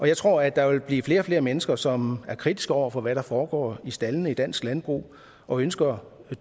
jeg tror at der vil blive flere og flere mennesker som er kritiske over for hvad der foregår i staldene i dansk landbrug og ønsker